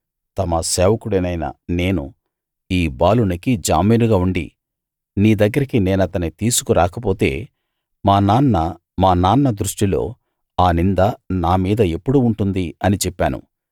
తమ సేవకుడినైన నేను ఈ బాలునికి జామీనుగా ఉండి నీ దగ్గరికి నేనతని తీసుకు రాకపోతే మా నాన్న దృష్టిలో ఆ నింద నా మీద ఎప్పుడూ ఉంటుంది అని చెప్పాను